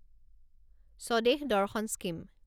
Swadesh Darshan scheme